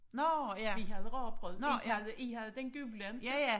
Vi havde rugbrød I havde I havde den gule inte